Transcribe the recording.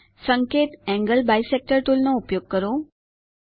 સંકેત angle bisector tool નો ઉપયોગ કરો